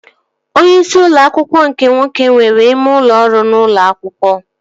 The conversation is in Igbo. Onyeisi ụlọ akwụkwọ nke nwoke nwere ime ụlọ ọrụ n'ụlọ akwụkwọ